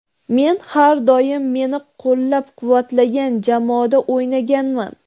Men har doim meni qo‘llab-quvvatlagan jamoada o‘ynaganman.